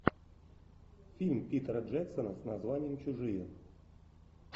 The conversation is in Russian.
фильм питера джексона с названием чужие